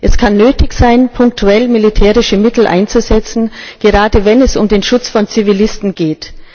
Es kann nötig sein, punktuell militärische Mittel einzusetzen, gerade wenn es um den Schutz von Zivilisten geht.